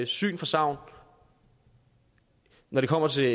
syn for sagn når det kommer til